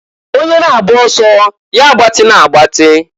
Onye na-agba ọsọ ya agbatịna agbatin.